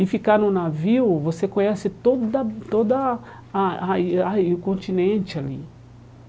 E ficar no navio, você conhece toda toda ah ai ai o continente ali.